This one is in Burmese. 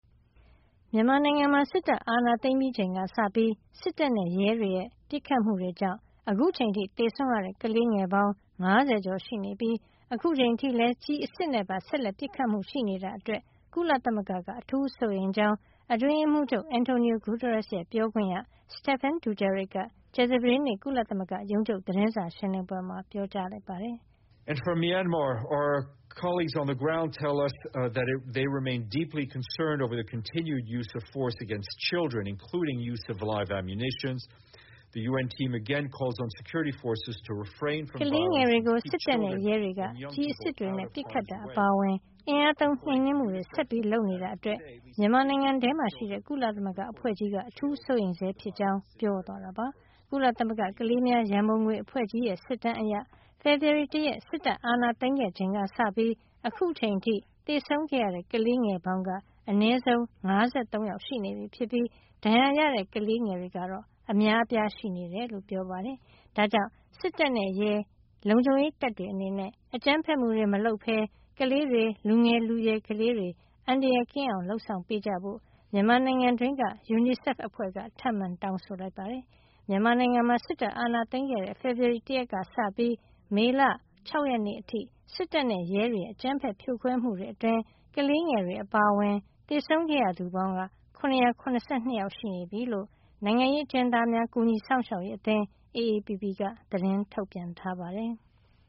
မြန်မာနိုင်ငံမှာ စစ်တပ်အာဏာသိမ်းပြီးချိန်ကစပြီး စစ်တပ်နဲ့ ရဲတွေရဲ့ပစ်ခတ်မှုတွေကြောင့် အခုချိန်ထိ သေဆုံးရတဲ့ ကလေးငယ် ၅၀ ကျော်ရှိနေပြီး အခုချိန်အထိလည်း ကျည်အစစ်နဲ့ပါ ဆက်လက်ပစ်ခတ်မှု ရှိနေတာအတွက် ကုလသမဂ္ဂက အထူးစိုးရိမ်ကြောင်း အတွင်းရေးမှူးချုပ် Antonio Guterres ရဲ့ ပြောခွင့်ရ Stephane Dujarric က ကြာသပတေးနေ့ ကုလသမဂ္ဂရုံးချုပ် သတင်းစာရှင်းလင်းပွဲမှာ ပြောပါတယ်။ ကလေးငယ်တွေကို စစ်တပ်နဲ့ရဲတွေက ကျည်အစစ်တွေနဲ့ ပစ်ခတ်တာ အပါအဝင် အင်အားသုံးနှိမ်နင်းမှုတွေ ဆက်လုပ်နေတာအတွက် မြန်မာနိုင်ငံထဲမှာရှိတဲ့ ကုလသမဂ္ဂအဖွဲ့ကြီးက အထူးစိုးရိမ်ဆဲ ဖြစ်ကြောင်း၊ ပြောသွားတာပါ။ ကုလသမဂ္ဂကလေးများရံပုံငွေအဖွဲ့ကြီးရဲ့ စစ်တမ်းအရ ဖေဖေဓဝါရီလ ၁ ရက် စစ်တပ်အာဏာသိမ်းခဲ့ချိန်က စပြီး အခုချိန်အထိ သေဆုံးခဲ့ရတဲ့ ကလေးငယ်ပေါင်းက အနည်းဆုံး ၅၃ ယောက် ရှိနေပြီဖြစ်ပြီး ဒဏ်ရာရတဲ့ ကလေးငယ်တွေကတော့ အများအပြား ရှိနေတယ်လို့ ပြောပါတယ်။ ဒါကြောင့် စစ်တပ်နဲ့ရဲ လုံခြုံရေးတပ်တွေ အနေနဲ့ အကြမ်းဖက်မှုတွေ မလုပ်ပဲ ကလေးတွေ၊ လူငယ်လူရွယ် ကလေးတွေ အန္တရာယ်ကင်းအောင် လုပ်ဆောင်ကြဖို့ မြန်မာနိုင်ငံတွင်းက UNICEF အဖွဲ့က ထပ်မံတောင်းဆိုလိုက်ပါတယ်။ မြန်မာနိုင်ငံမှာ စစ်တပ်အာဏာသိမ်းခဲ့တဲ့ ေ ဖဖေါ်ဝါရီလ ၁ ရက် ကစပြီး မေလ ၆ ရက်နေ့ အထိ စစ်တပ်နဲ့ရဲတွေရဲ့ အကြမ်းဖက်ဖြိုခွဲမှုတွေ အတွင်း ကလေးငယ်တွေ အပါအဝင် သေဆုံးခဲ့ရသူစုစုပေါင်းက ၇၇၂ ယောက် ရှိနေပြီလို့ နိုင်ငံရေးအကျဉ်းသားများ ကူညီစောင့်ရှောက်ရေး အသင်း AAPP က သတင်းထုတ်ပြန်ထားပါတယ်။